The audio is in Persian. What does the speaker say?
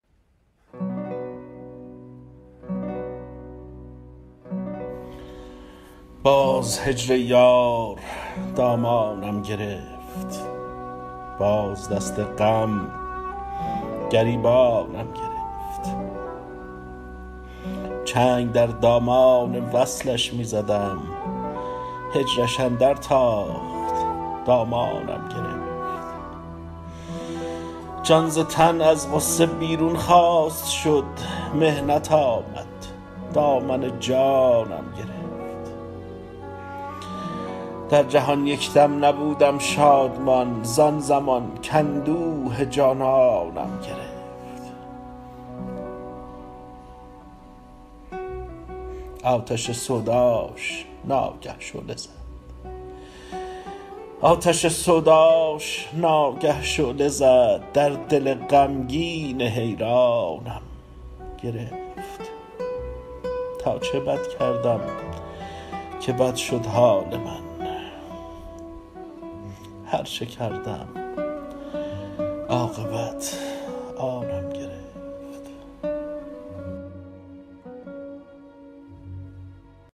باز هجر یار دامانم گرفت باز دست غم گریبانم گرفت چنگ در دامان وصلش می زدم هجرش اندر تاخت دامانم گرفت جان ز تن از غصه بیرون خواست شد محنت آمد دامن جانم گرفت در جهان یک دم نبودم شادمان زان زمان کاندوه جانانم گرفت آتش سوداش ناگه شعله زد در دل غمگین حیرانم گرفت تا چه بد کردم که بد شد حال من هرچه کردم عاقبت آنم گرفت